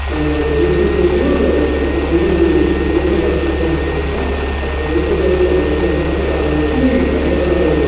ఇక్కడ చూస్తున్నట్టయితే ఒక మూడు బోట్ లు కనిపిస్తున్నాయన్నమాట అక్కడ చూస్తున్నట్టయితే ఒక వ్యక్తి ఉన్నాడు ఆ వ్యక్తి. యర్రా కలర్--